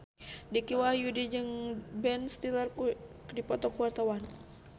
Dicky Wahyudi jeung Ben Stiller keur dipoto ku wartawan